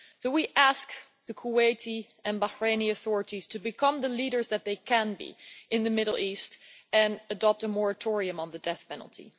We ask the Kuwaiti and Bahraini authorities to become the leaders that they can be in the Middle East and adopt a moratorium on the death penalty.